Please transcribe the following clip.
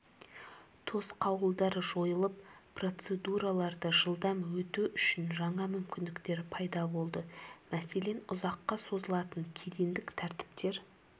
тосқауылдар жойылып процедураларды жылдам өту үшін жаңа мүмкіндіктер пайда болды мәселен ұзаққа созылатын кедендік тәртіптер